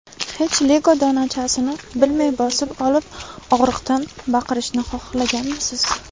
Hech Lego donachasini bilmay bosib olib, og‘riqdan baqirishni xohlaganmisiz?